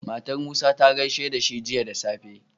Matar musa ta gaishe dashi Jiya da safe